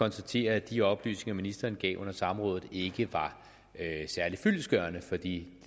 konstatere at de oplysninger ministeren gav under samrådet ikke var særlig fyldestgørende for det